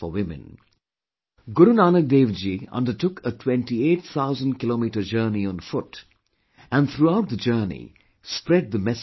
Guru Nanak Dev ji undertook a 28 thousand kilometre journey on foot and throughout the journey spread the message of true humanity